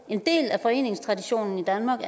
en del af foreningstraditionen i danmark